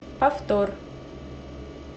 повтор